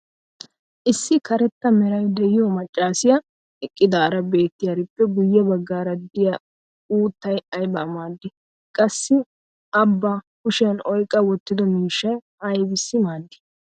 issi karetta meray diyo macaassiya eqqidaara beetiyaarippe guye bagaara diya uuttay aybaa maadii? qassi a ba kushiyan oyqqa wotido miishshay aybissi maadii?